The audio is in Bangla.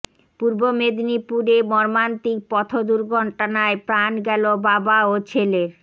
পূর্ব মেদিনীপুরে মর্মান্তিক পথ দুর্ঘটনায় প্রাণ গেল বাবা ও ছেলের